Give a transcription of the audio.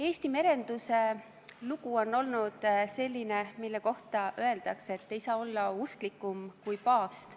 Eesti merenduse lugu on olnud selline, mille kohta öeldakse, et ei saa olla usklikum kui paavst.